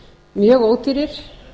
mjög ódýrir